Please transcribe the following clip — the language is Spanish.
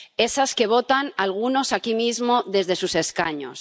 Esas que votan algunos aquí mismo desde sus escaños.